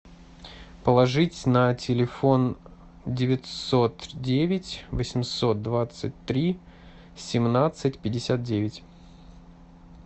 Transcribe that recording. положить на телефон девятьсот девять восемьсот двадцать три семнадцать пятьдесят девять